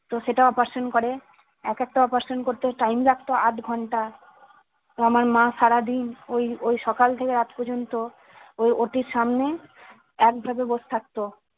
তো সেটা operation করে এক একটা operation করতে time লাগতো আধ ঘন্টা আমার মা সারাদিন ওই ওই সকাল থেকে রাত পর্যন্ত ওই OT এর সামনে একভাবে বস থাকত